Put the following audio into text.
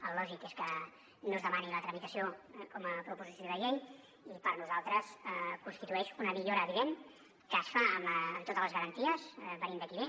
el lògic és que no es demani la tramitació com a proposició de llei i per nosaltres constitueix una millora evident que es fa amb totes les garanties venint de qui ve